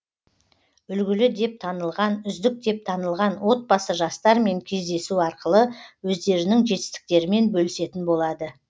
үлгілі деп танылған үздік деп танылған отбасы жастармен кездесу арқылы өздерінің жетістіктерімен бөлісетін болады